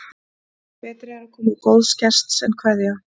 Betri er koma góðs gests en kveðja.